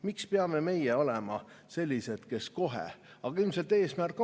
Miks peame meie olema sellised, kes kohe?